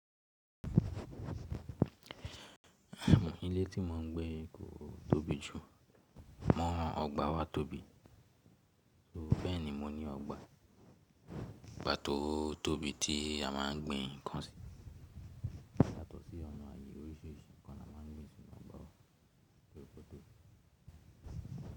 Ilé tí mò ń gbé kò tóbi jù. Mọ́ ọgbà wa tóbi, bẹ́ẹ̀ni mo ní ọgbà tó tóbi tí a má ń gbin nǹkan sí. Yato awon ààyè oríṣiríṣi nǹkan la má a ń gbin sínu ọgbà wa torípé o tóbi.